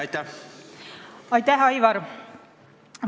Aitäh, Aivar!